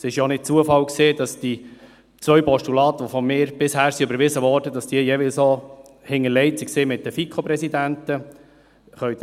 Es war auch kein Zufall, dass die beiden Postulate von mir die bisher überwiesen wurden, jeweils auch mit den FiKo-Präsidenten hinterlegt waren.